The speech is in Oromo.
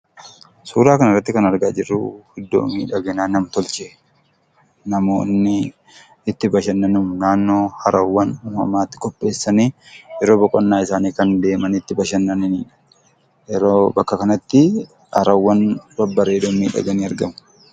Suuraa kana irratti kan argaa jirru, iddoo miidhagina nam-tolchee namoonni itti bashannanuun naannoo harawwan uumamaatti qopheessanii yeroo boqonnaa isaanii deemanii itti bashannananii dha. Bakka kanatti harawwan babbareedoon miidhaganii argamu.